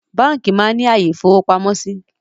Báńkì máa ń ní àyè ìfowópamọ́ síí